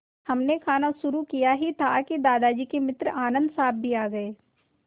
हमने खाना शुरू किया ही था कि दादाजी के मित्र आनन्द साहब भी आ गए